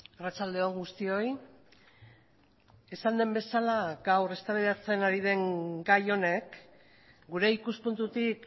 arratsalde on guztioi esan den bezala gaur eztabaidatzen ari den gai honek gure ikuspuntutik